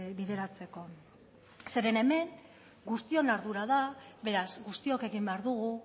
bideratzeko zeren hemen guztion ardura da beraz guztiok egin behar dugu